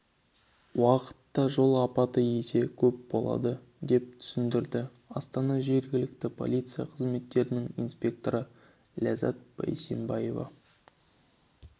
уақытта жол апаты есе көп болады деп түсіндірді астана жергілікті полиция қызметінің инспекторы ләззат бейсембаева